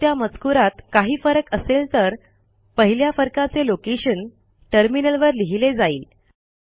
जर त्या मजकूरात काही फरक असेल तर पहिल्या फरकाचे लोकेशन टर्मिनलवर लिहिले जाईल